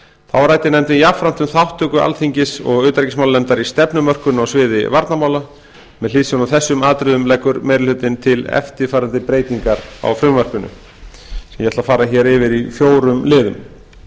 þá ræddi nefndin jafnframt um þátttöku alþingis og utanríkismálanefndar í stefnumörkun á sviði varnarmála með hliðsjón af þessum atriðum leggur meiri hlutinn til eftirfarandi breytingar á frumvarpinu sem ég ætla að fara yfir í fjórum liðum